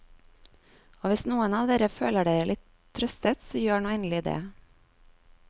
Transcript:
Og hvis noen av dere føler dere litt trøstet så gjør nå endelig det.